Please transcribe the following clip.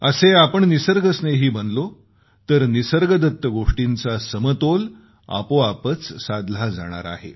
असे आपण निसर्गस्नेही बनलो तर निसर्गदत्त गोष्टींचा समतोल आपोआपच साधला जाणार आहे